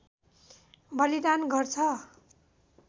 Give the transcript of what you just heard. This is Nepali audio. बलिदान गर्छ